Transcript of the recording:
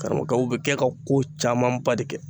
Karamɔgɔkɛ u bɛ kɛ ka ko camanba de kɛ.